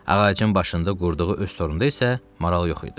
Ağacın başında qurduğu öz torunda isə maral yox idi.